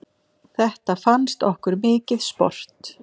Þetta fannst okkur mikið sport.